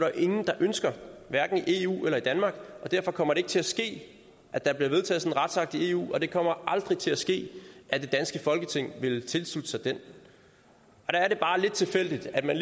jo ingen der ønsker hverken i eu eller i danmark og derfor kommer det ikke til at ske at der bliver vedtaget sådan en retsakt i eu og det kommer aldrig til at ske at det danske folketing vil tilslutte sig den der er det bare lidt tilfældigt at man